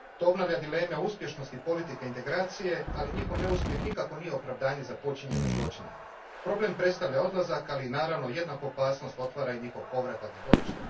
To obnavlja dileme o uspješnosti politike integracije, ali njihov neuspjeh nikako nije opravdanje za počinjene zločine. Problem predstavlja odlazak, ali i naravno jednaku opasnost otvara i njihov povratak s bojišta.